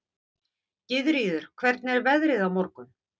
Gyðríður, hvernig er veðrið á morgun?